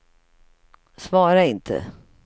svara inte